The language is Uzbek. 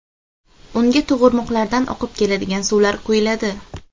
Unga tog‘ irmoqlardan oqib keladigan suvlar quyuladi.